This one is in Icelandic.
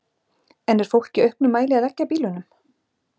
En er fólk í auknum mæli að leggja bílunum?